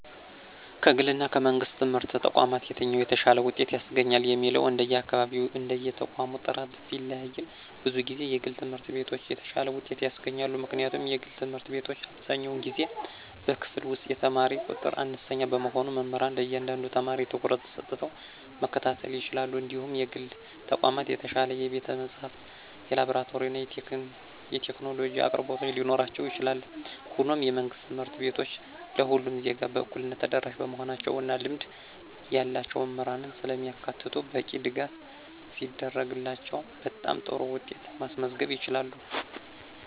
ከግልና ከመንግሥት ትምህርት ተቋማት የትኛው የተሻለ ውጤት ያስገኛል የሚለው እንደየአካባቢውና እንደየተቋሙ ጥራት ቢለያይም፣ ብዙ ጊዜ የግል ትምህርት ቤቶች የተሻለ ውጤት ያስገኛሉ። ምክንያቱም የግል ትምህርት ቤቶች አብዛኛውን ጊዜ በክፍል ውስጥ የተማሪ ቁጥር አነስተኛ በመሆኑ መምህራን ለእያንዳንዱ ተማሪ ትኩረት ሰጥተው መከታተል ይችላሉ እንዲሁም የግል ተቋማት የተሻለ የቤተ-መጻሕፍት፣ የላብራቶሪና የቴክኖሎጂ አቅርቦቶች ሊኖራቸው ይችላል። ሆኖም፣ የመንግሥት ትምህርት ቤቶች ለሁሉም ዜጋ በእኩልነት ተደራሽ በመሆናቸው እና ልምድ ያላቸው መምህራንን ስለሚያካትቱ በቂ ድጋፍ ሲደረግላቸው በጣም ጥሩ ውጤት ማስመዝገብ ይችላሉ።